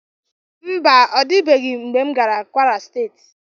Mba, ọ dịtụbeghị mgbe m gara kwara steeti.